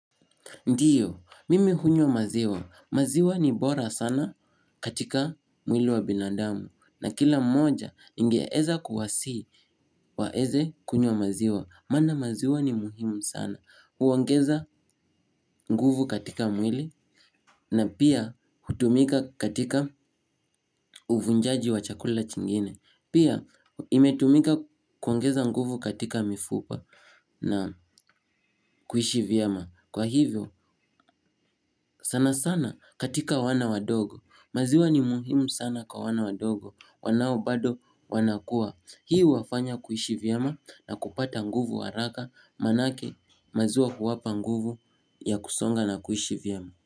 Ndiyo, mimi hunywa maziwa. Maziwa ni bora sana katika mwili wa binadamu. Na kila mmoja, ningeweza kuwasihi waweze kunywa maziwa. Maana maziwa ni muhimu sana. Huongeza nguvu katika mwili. Na pia, hutumika katika uvunjaji wa chakula chingine. Pia, imetumika kuongeza nguvu katika mifupa na kuishi vyema. Kwa hivyo, sana sana katika wana wadogo. Maziwa ni muhimu sana kwa wana wadogo, wanao bado wanakua hii huwafanya kuishi vyema na kupata nguvu haraka manake maziwa huwapa nguvu ya kusonga na kuishi vyema.